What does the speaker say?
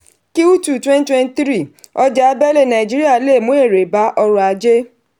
twenty twenty three ọjà abẹ̀lé nàìjíríà lè mu èrè bá ọrọ̀ ajé.